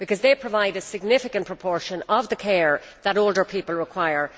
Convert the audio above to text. They provide a significant proportion of the care that older people require.